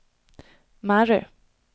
Mary